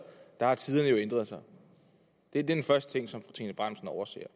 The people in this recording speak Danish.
har tiderne jo ændret sig det er den første ting som fru trine bramsen overser